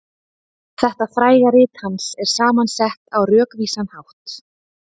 Þetta fræga rit hans er saman sett á rökvísan hátt.